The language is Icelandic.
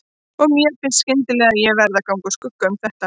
Og mér finnst skyndilega ég verði að ganga úr skugga um þetta.